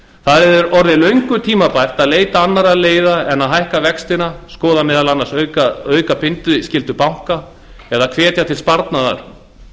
það er orðið löngu tímabært að leita annarra leiða en að hækka vextina skoða meðal annars að auka bindiskyldu banka eða hvetja til sparnaðar